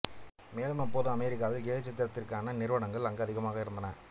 மேலும் அப்பொழுது அமெரிக்காவில் கேலிச்சித்திரத்திற்கான நிறுவனங்கள் அங்கு அதிகமாக இருந்தன